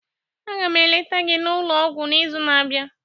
Aga m eleta gị n'ụlọ ọgwụ n'izu na-abịa